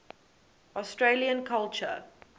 australian culture